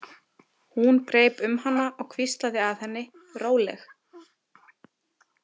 Hún greip um hana og hvíslaði að henni: Róleg.